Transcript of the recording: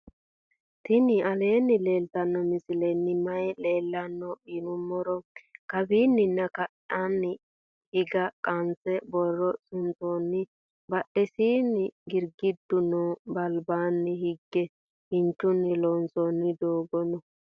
tini aleni leltano misileni maayi leelano yinnumoro. kawanina ka"ani haga qanse booro suntoni. badhesini girgidu noo. balbani hiige kinchuni loonsoni doogo noo.